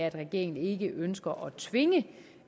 at regeringen ikke ønsker